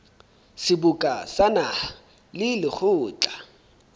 seboka sa naha le lekgotla